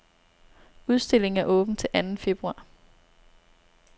Udstillingen er åben til anden februar.